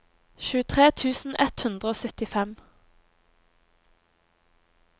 tjuetre tusen ett hundre og syttifem